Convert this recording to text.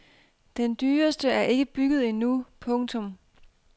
Den dyreste er ikke bygget endnu. punktum